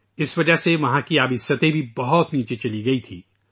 اس وجہ سے ، وہاں پانی کی سطح بھی بہت نیچے چلی گئی تھی